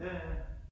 Ja ja